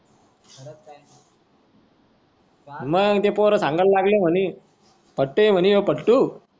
माग ते पोर सांगायला लागले म्हणे. फटू होई म्हणे हे फटू फटू.